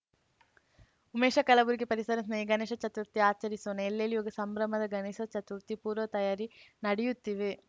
ಉಮೇಶ ಕಲಬುರಗಿ ಪರಿಸರ ಸ್ನೇಹಿ ಗಣೇಶ ಚತುರ್ಥಿ ಆಚರಿಸೋಣ ಎಲ್ಲೆಲ್ಲೂ ಸಂಭ್ರಮದ ಗಣೇಶ ಚತುರ್ಥಿಯ ಪೂರ್ವತಯಾರಿ ನಡೆಯುತ್ತೀವೆ